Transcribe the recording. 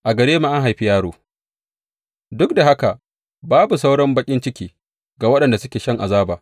A gare mu an haifi yaro Duk da haka, babu sauran baƙin ciki ga waɗanda suke shan azaba.